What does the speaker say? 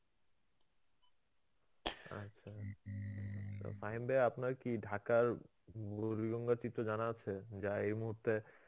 আচ্ছা, ফাহিম ভাই আপনার কি ঢাকার চিত্র জানা আছে যা এই মুহূর্তে